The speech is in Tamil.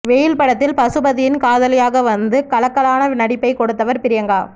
வெயில் படத்தில் பசுபதியின் காதலியாக வந்து கலக்கலான நடிப்பைக் கொடுத்தவர் பிரியங்கா